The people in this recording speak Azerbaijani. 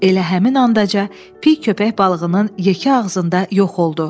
Elə həmin anda piy köpək balığının yekə ağzında yox oldu.